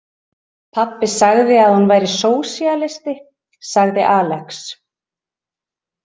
Pabbi sagði að hún væri sósíalisti, sagði Alex.